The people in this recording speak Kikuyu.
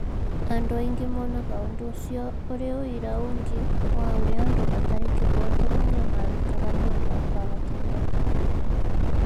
Andũ aingĩ monaga ũndũ ũcio ũrĩ ũira ũngĩ wa ũrĩa andũ matarĩ kĩhooto manyamarĩkaga nĩ ũndũ wa kwaga kĩhooto.